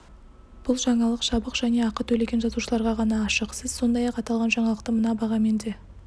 бұл жаңалық жабық және ақы төлеген жазылушыларға ғана ашық сіз сондай-ақ аталған жаңалықты мына бағамен де